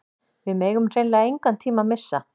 Við megum hreinlega engan tíma missa